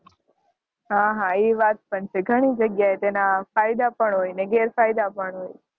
હા એ વાત પણ છે ઘણી જગ્યા એ એના ફાયદા પણ હોય ને ગેર ફાયદા પણ હોય